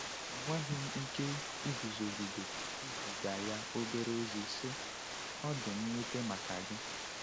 Enweghị m ike iguzogide iziga ya obere ozi, sị: “Ọ dị m nwute maka gị.